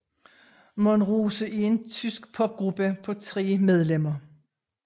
Monrose er en tysk popgruppe på tre medlemmer